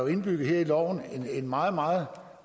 er indbygget i loven en meget meget